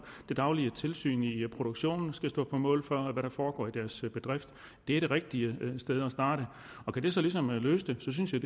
det daglige tilsyn i produktionen og skal stå på mål for hvad der foregår i deres bedrift det er det rigtige sted at starte kan det så ligesom løse det synes jeg